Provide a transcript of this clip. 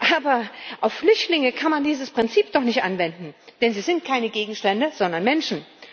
Aber auf Flüchtlinge kann man dieses Prinzip doch nicht anwenden, denn sie sind keine Gegenstände, sondern Menschen.